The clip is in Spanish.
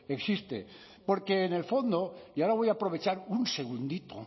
existe porque en el fondo y ahora voy a aprovechar un segundito